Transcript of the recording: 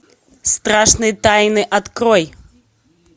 страшные тайны открой